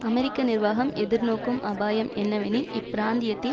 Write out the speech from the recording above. அமெரிக்க நிர்வாகம் எதிர்நோக்கும் அபாயம் என்னவெனில் இப்பிராந்தியத்தில்